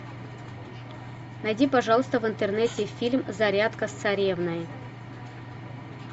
найди пожалуйста в интернете фильм зарядка с царевной